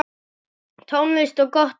Tónlist og gott kaffi.